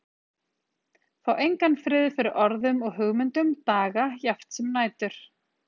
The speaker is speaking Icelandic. Fá engan frið fyrir orðum og hugmyndum, daga jafnt sem nætur.